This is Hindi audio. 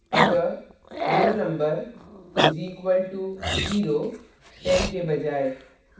अतः roll _ number is equal to zero ten के बजाय